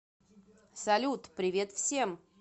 салют привет всем